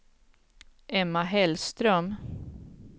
Emma Hellström